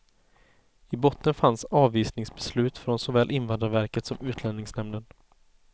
I botten fanns avvisningsbeslut från såväl invandrarverket som utlänningsnämnden.